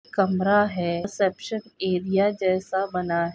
कमरा है reception area जैसा--